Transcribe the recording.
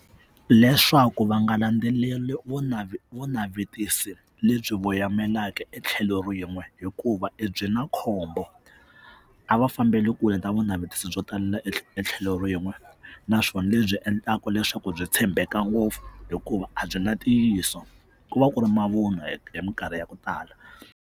Leswaku va nga landzeleli vo vo navetisa lebyi voyemelaka etlhelo rin'we hikuva byi na khombo a va fambeli kule na vunavetiso byo talela etlhelo rin'we naswona lebyi endlaka leswaku byi tshembeka ngopfu hikuva a byi na ntiyiso ku va ku ri mavun'wa hi hi mikarhi ya ku tala.